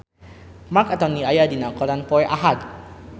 Marc Anthony aya dina koran poe Ahad